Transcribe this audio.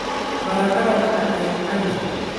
Baradhada macaan ayaa macaan leh.